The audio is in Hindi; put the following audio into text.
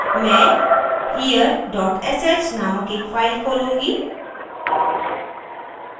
मैं here dot sh named एक फाइल खोलूँगी